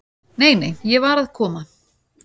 """Nei, nei, ég var að koma."""